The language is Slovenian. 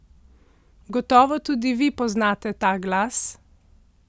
Gotovo tudi vi poznate ta glas?